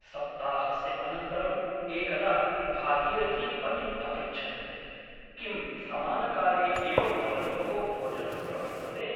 सप्ताहस्य अनन्तरम् एकदा भागीरथी पतिम् अपृच्छत् किं समानकाले एव भवतोः भोजनं प्रवर्तते ?